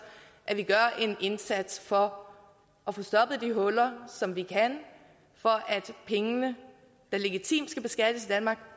at vi gør en indsats for at få stoppet de huller som vi kan for at pengene der legitimt skal beskattes i danmark